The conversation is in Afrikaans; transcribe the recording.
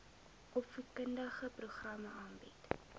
opvoedkundige programme aanbied